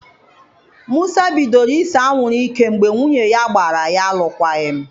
Musa bidoro ise anwụrụ ike mgbe nwunye ya gbara ya alụkwaghịm.